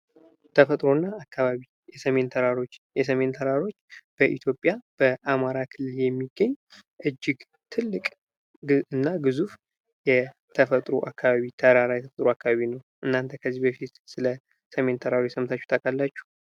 ተፈጥሮና አካባቢ የሰሜን ተራሮች የሰሜን ተራሮች በኢትዮጵያ በአማራ ክልል የሚገኝ እጅግ ትልቅ እና ግዙፍ የተፈጥሮ አካባቢ ተራራ የተፈጥሮ አካባቢ ነው። እናንተ ከዚህ በፊት ስለ ሰሜን ተራሮች ሰምታችሁ ታውቃላችሁ?